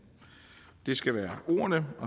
det skal være ordene